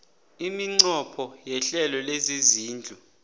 iminqopho yehlelo lezezindlu